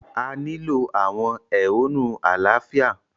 A nilo awọn ehonu alaafia